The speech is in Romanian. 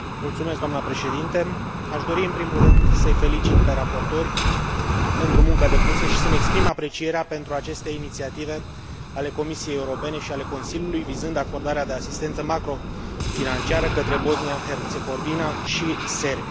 Aș dori, în primul rând, să i felicit pe raportori pentru munca depusă și să mi exprim aprecierea pentru aceste inițiative ale Comisiei Europene și ale Consiliului vizând acordarea de asistență macrofinanciară către Bosnia Herțegovina și Serbia.